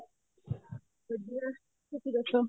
ਵਧੀਆ ਤੁਸੀਂ ਦੱਸੋ